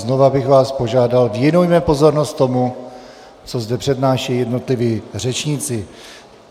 Znova bych vás požádal - věnujme pozornost tomu, co zde přednášejí jednotliví řečníci.